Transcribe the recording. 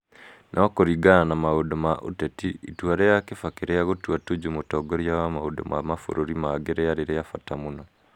No kũringana na maũndũ ma ũteti, itua rĩa Kibaki rĩa gũtua Tuju mũtongoria wa maũndũ ma mabũrũri mangĩ rĩarĩ rĩa bata mũno.